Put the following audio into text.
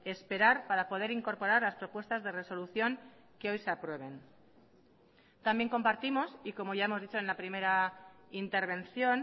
esperar para poder incorporar las propuestas de resolución que hoy se aprueben también compartimos y como ya hemos dicho en la primera intervención